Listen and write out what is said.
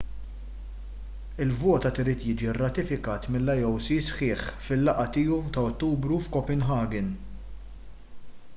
il-vot għad irid jiġi rratifikat mill-ioc sħiħ fil-laqgħa tiegħu ta' ottubru f'copenhagen